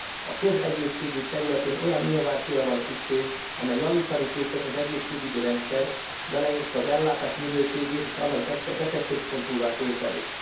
A közegészségügy területén olyan innovációra van szükség, amely javítani képes az egészségügyi rendszert, beleértve az ellátás minőségét és annak betegközpontúvá tételét.